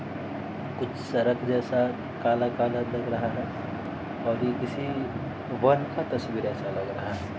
कुछ सरक जैसा काला-काला लग रहा है और ये किसी वन का तस्वीर ऐसा लग रहा है।